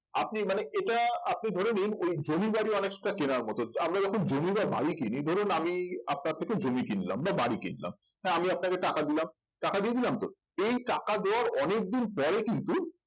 আপনি মানে এটা আপনি ধরে নিন এই জমি বাড়ি অনেকটা কেনার মতন আমরা যখন জমি বা বাড়ি কিনি ধরুন আমি আপনার থেকে জমি কিনলাম বা বাড়ি কিনলাম হ্যাঁ আপনাকে টাকা দিলাম টাকা দিয়ে দিলাম তো এই টাকা দেওয়ার অনেক দিন পরে কিন্তু